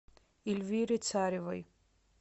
эльвире царевой